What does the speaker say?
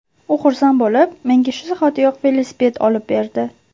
U xursand bo‘lib, menga shu zahotiyoq velosiped olib berdi.